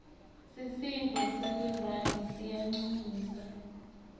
sisinduo selirandi siyancumisa